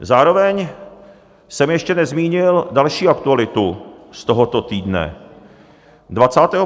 Zároveň jsem ještě nezmínil další aktualitu z tohoto týdne.